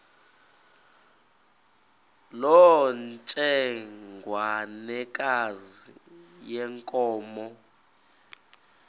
loo ntsengwanekazi yenkomo